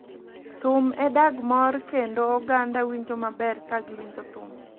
Thum e dag mor kendo oganda winjo maber ka giwinjo thum